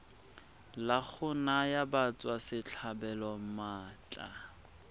la go naya batswasetlhabelo maatla